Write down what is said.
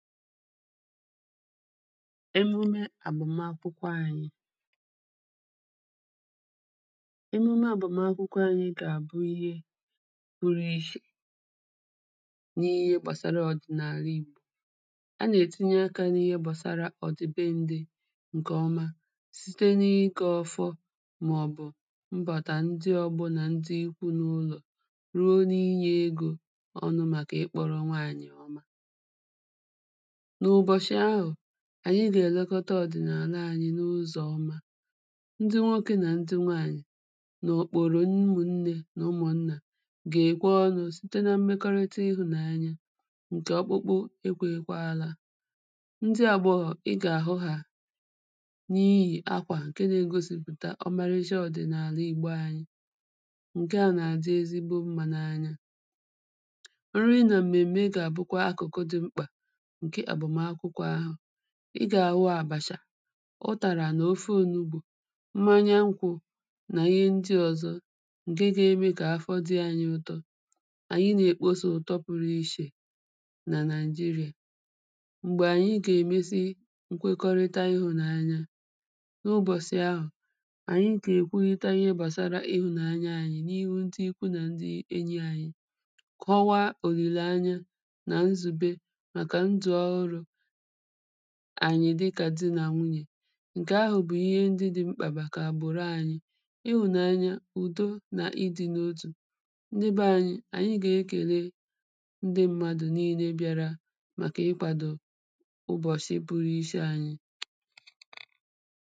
emụme àgbọ̀makwụwọ anyị emụme àgbọ̀makwụwọ anyị gà à bụ ịhe puru ịchè nà-ịhe gbasara ọ̀dị̀nàla ị̀gbò a nà-ètịnye ak̄ nà ịhe gbāsārā ọ̀dị̀ be nde nkè ọma site na ị kē ọ̄fọ̄ mà ọ̀ bụ̀ mbàtà nje ọbunà nje ịkwunụ̀ ụlọ̀ ruo nị nyē egō ọ nu màkà ị kporo ṅwaànyị̀ ọma nụ̀bọ̀shị̀ ahụ̀ ànyị gà ẹ̀ lẹkọta ọ̀dị̀nàla ānyị̄ nụzọ̀ ọma ndị nwokē nà ndị ndị nwaànyị̀ nà òkpòrò ụmụ̀ṅnẹ̄ nà ụmụ̀ṅnà gà è kwe ọnụ̄ sịte na mmekọrịta ịhụ̀nanya nkè ọkpụkụ e kwēhēkwālā ndị agbọhọ̀ ị gà hụ hā nịhị akwà nke na-egosị̀pụ̀ta ọmalịsha ọ̀dị̀nàla ị̀gbo anyi nkaà nà-àdị ezịbo mmā nā ányá nrị nà mmèmme gà à bụ̇kwa akụ̀kụ dị ḿkpà nke àgbọ̀makwụwọ ahụ̀ ị gà wu àbàchà ụtàrà nà ofe onugbò mmanya nkwụ̄ nà-ịhe ndị ọ̀zọ nke ge me kà afọ dị anyị ụ̀tó ànyị nè kpose ụ̀tọ puru ịchè nà Nigeria m̀gbẹ̀ ànyị ʤà è mézị́ nkwekọrịta ịhụ̀nanya nubọ̀sị̀ ahụ̀ ànyị gà è kwụlịta ịhe gbàsara ịhụ̀nanya anyi niịhụ ṅdị ụkwụ nà ṅdị enyī anyị kọwa òlị̀lanya nà nzùbe màkà ndụ̀ ọrụ̄ ānyị̄ dị kà dị nà nwụnyè nkè ahụ̀ bù ịhe ndị dị mkpà màkà àbòro anyị ịhụ̀nanya ụ̀do nà ị dị notụ̀ ndị bẹ ānyī ànyị gà e kèle ndị madụ̀ nịlē biara màkà ị kwādō ụbọ̀shi puru ịshe anyị